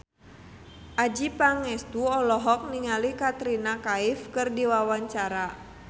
Adjie Pangestu olohok ningali Katrina Kaif keur diwawancara